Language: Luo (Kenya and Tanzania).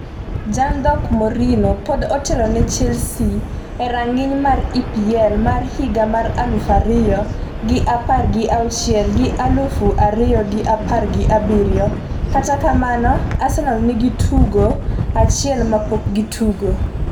jandhok' Mourinho pod otelo ne Chelsea e rang'iny mar EPL mar higa mar aluf ariyo gi apar gi auchiel gi aluf ariyo gi apar gi abiriyo Kata kamano, Arsenal nigi tugo achiel ma pok gitugo.